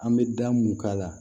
An bɛ da mun k'a la